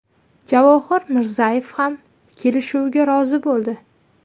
Javohir Mirzayev ham kelishuvga rozi bo‘ldi.